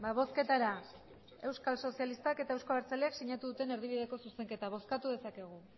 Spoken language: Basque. bozketara euskal sozialistak eta euzko abertzaleak sinatu duten erdibideko zuzenketa bozkatu dezakegu